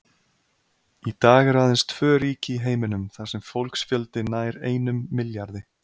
Í dag eru aðeins tvö ríki í heiminum þar sem fólksfjöldi nær einum milljarði.